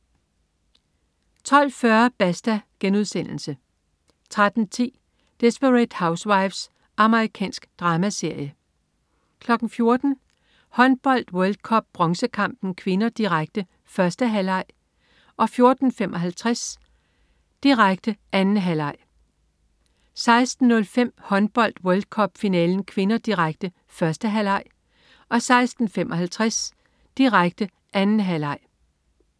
12.40 Basta* 13.10 Desperate Housewives. Amerikansk dramaserie 14.00 Håndbold: World Cup. Bronzekampen (k), direkte. 1. halvleg 14.55 Håndbold: World Cup. Bronzekampen (k), direkte. 2. halvleg 16.05 Håndbold: World Cup. Finalen (k), direkte. 1. halvleg 16.55 Håndbold: World Cup. Finalen (k), direkte. 2. halvleg